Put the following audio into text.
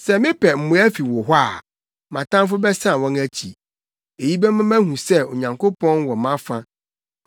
Sɛ mepɛ mmoa fi wo hɔ a, mʼatamfo bɛsan wɔn akyi. Eyi bɛma mahu sɛ Onyankopɔn wɔ mʼafa.